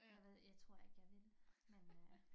Jeg ved jeg tror ikke jeg vil men øh